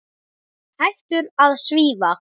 Hættur að svífa.